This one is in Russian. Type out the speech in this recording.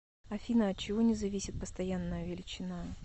афина от чего не зависит постоянная величина